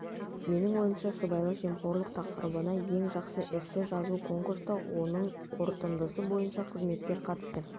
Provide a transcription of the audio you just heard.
менің ойымша сыбайлас жемқорлық тақырыбында ең жақсы эссе жазу конкурсқа оның қорытындысы бойынша қызметкер қатысты